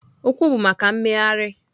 Ụkwụ bụ maka mmegharị.